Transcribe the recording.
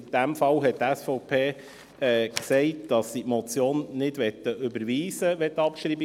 Für diesen Fall hat die SVP beschlossen, dass sie die Motion nicht überweisen möchte.